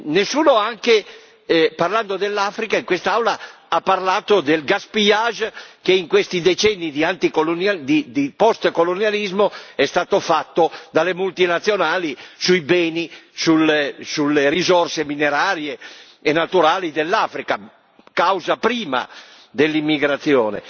Nessuno, parlando dell'Africa in quest'Aula, ha parlato dello spreco che in questi decenni di post colonialismo è stato fatto dalle multinazionali sui beni, sulle risorse minerarie e naturali dell'Africa, causa prima dell'immigrazione.